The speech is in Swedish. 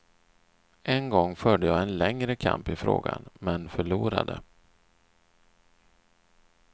En gång förde jag en längre kamp i frågan men förlorade.